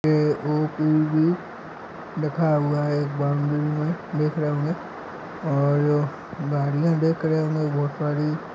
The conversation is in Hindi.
ए_उ_ए_वी लिखा हुआ है एक बाम्बू मे देख रहे होंगे और गाड़िया देख रहे होंगे बहोत सारी--